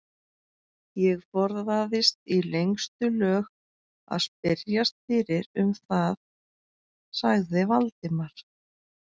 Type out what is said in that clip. Ég forðaðist í lengstu lög að spyrjast fyrir um það sagði Valdimar.